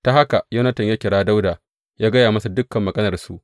Ta haka Yonatan ya kira Dawuda ya gaya masa dukan maganarsu.